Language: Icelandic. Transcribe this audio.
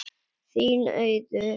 Þín, Auður.